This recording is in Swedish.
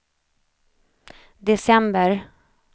december